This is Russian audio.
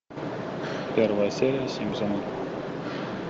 первая серия симпсоны